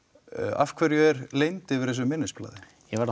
af hverju er leynd yfir þessu minnisblaði ég verð að